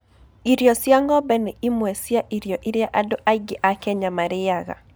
Irio cia ng'ombe nĩ imwe cia irio iria andũ aingĩ a Kenya marĩaga.